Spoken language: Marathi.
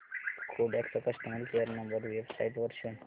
कोडॅक चा कस्टमर केअर नंबर वेबसाइट वर शोध